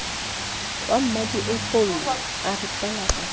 wa mmmadiepollo a re balakatha